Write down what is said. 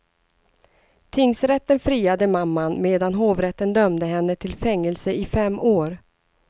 Tingsrätten friade mamman medan hovrätten dömde henne till fängelse i fem år.